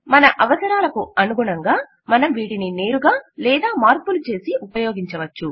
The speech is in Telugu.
మన అవసరాలకనుగుణంగా మనం వీటిని నేరుగా లేదా మార్పులు చేసి ఉపయోగించవచ్చు